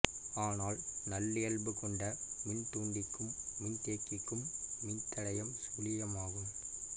ஆனால் நல்லியல்பு கொண்ட மின்தூண்டிக்கும் மின்தேக்கிக்கும் மின்தடையம் சுழியம் ஆகும்